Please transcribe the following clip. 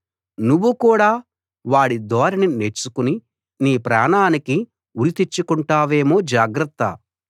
నువ్వు కూడా వాడి ధోరణి నేర్చుకుని నీ ప్రాణానికి ఉరి తెచ్చుకుంటావేమో జాగ్రత్త